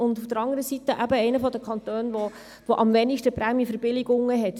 Auf der anderen Seite gehören wir zu den Kantonen, die am wenigsten Prämienverbilligungen haben.